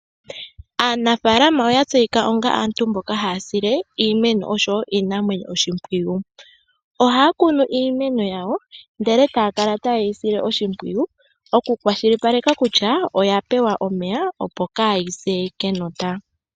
Aanafaalama oya tseyika onga antu mboka haya sile iimeno oshowo iinamwenyo oshimpwiyu. Ohaya kunu iimeno yawo ndele etaya kala taye yi sile oshimpwiyu oku kwashilipaleke kutya oya pewa omeya opo kaayi se kenota.